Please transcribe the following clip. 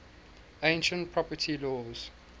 ancient property laws